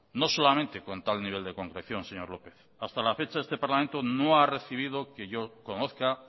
no solamente con tal nivel de concreción señor lópez hasta la fecha este parlamento no ha recibido que yo conozca